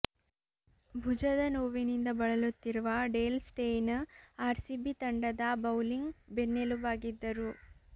ಭುಜದ ನೋವಿನಿಂದ ಬಳಲುತ್ತಿರುವ ಡೇಲ್ ಸ್ಟೇಯ್ನ್ ಆರ್ಸಿಬಿ ತಂಡದ ಬೌಲಿಂಗ್ ಬೆನ್ನೆಲುಬಾಗಿದ್ದರು